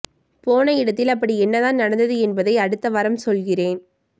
போன இடத்தில் அப்படி என்னதான் நடந்தது என்பதை அடுத்த வாரம் சொல்கிறேன்